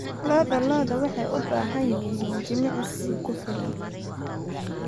Lo'da lo'da waxay u baahan yihiin jimicsi ku filan.